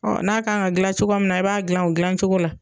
Ɔ n'a kan ka dilan cogo min na, i b'a dilan o dilan cogo la